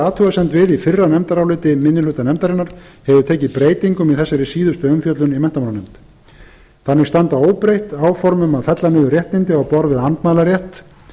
við í fyrra nefndaráliti minni hlutans hefur tekið breytingum í þessari síðustu umfjöllun í nefndinni þannig standa óbreytt áform um að fella niður réttindi á borð við andmælarétt